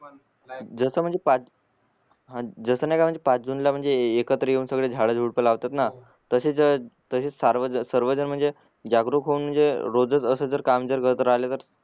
जस म्हणजे पाच जस नाही का म्हणजे पाच जून ला म्हणजे एकत्र येऊन झाड झुडपं लावतात ना तसेच सार्वजन सर्वजन म्हणजे जागरूक होऊन म्हणजे रोजच असे काम करत राहिले तर